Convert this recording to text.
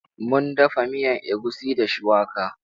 Mun dafa miyan egusi da shuwaka.